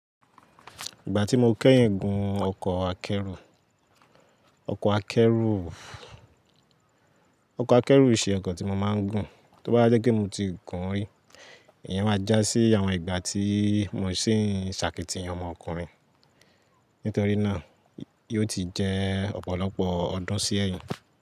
Ìgbà tí mo kẹ́yìn gùn ọkọ̀ akẹ́rù, ọkọ̀ akẹ́rù ìṣe ọkọ̀ tí mo máa ń gùn, tó bá jẹ́ pe mo ti gùn ún rí, ìyẹn máa já sí àwọn ìgbà tí mo sì ń ṣàkítìyan ọmọ ọkùnrin. Nítorí náà, yóò ti jẹ́ ọ̀pọ̀lọpọ̀ ọdún sí ẹ̀yin.